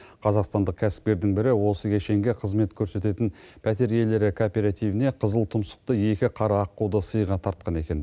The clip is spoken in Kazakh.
қазақстандық кәсіпкердің бірі осы кешенге қызмет көрсететін пәтер иелері кооперативіне қызыл тұмсықты екі қара аққуды сыйға тартқан екен